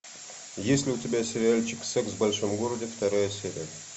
есть ли у тебя сериальчик секс в большом городе вторая серия